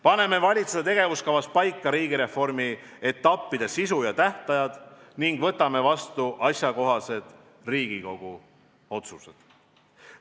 Paneme valitsuse tegevuskavas paika riigireformi etappide sisu ja tähtajad ning loodame, et Riigikogu võtab vastu asjakohased otsused.